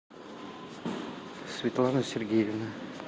светлана сергеевна